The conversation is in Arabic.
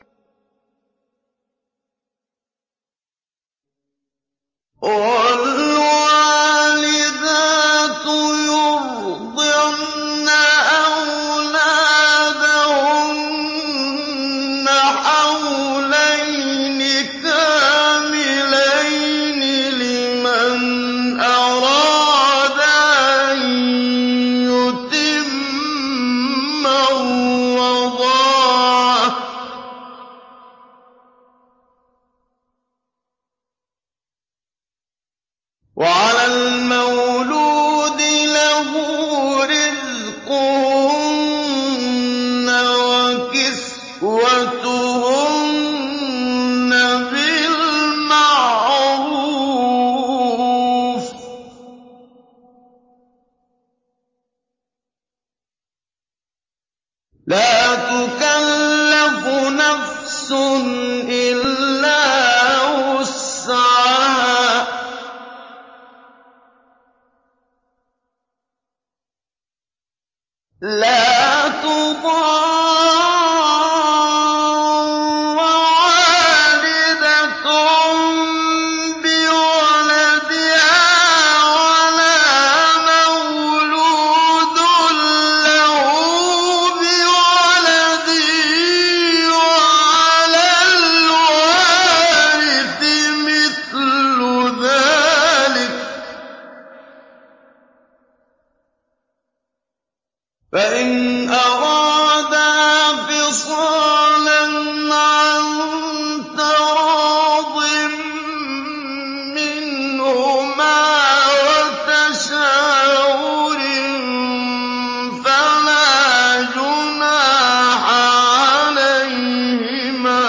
۞ وَالْوَالِدَاتُ يُرْضِعْنَ أَوْلَادَهُنَّ حَوْلَيْنِ كَامِلَيْنِ ۖ لِمَنْ أَرَادَ أَن يُتِمَّ الرَّضَاعَةَ ۚ وَعَلَى الْمَوْلُودِ لَهُ رِزْقُهُنَّ وَكِسْوَتُهُنَّ بِالْمَعْرُوفِ ۚ لَا تُكَلَّفُ نَفْسٌ إِلَّا وُسْعَهَا ۚ لَا تُضَارَّ وَالِدَةٌ بِوَلَدِهَا وَلَا مَوْلُودٌ لَّهُ بِوَلَدِهِ ۚ وَعَلَى الْوَارِثِ مِثْلُ ذَٰلِكَ ۗ فَإِنْ أَرَادَا فِصَالًا عَن تَرَاضٍ مِّنْهُمَا وَتَشَاوُرٍ فَلَا جُنَاحَ عَلَيْهِمَا ۗ